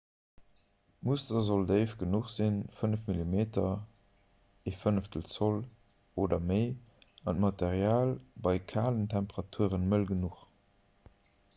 d'muster sollt déif genuch sinn 5 mm 1/5 zoll oder méi an d'material bei kalen temperature mëll genuch